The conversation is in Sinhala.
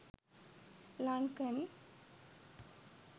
lankan